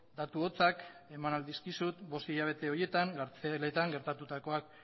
datu hotzak eman ahal dizkizut bost hilabete horietan gartzeletan gertatutakoak